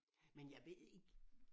Men jeg ved ikke